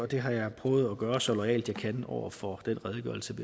det har jeg prøvet at gøre så loyalt jeg kan over for den redegørelse